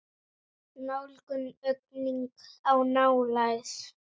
Nálgun: aukning á nálægð?